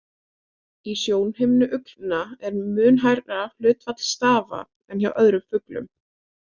Í sjónhimnu uglna er mun hærra hlutfall stafa en hjá öðrum fuglum.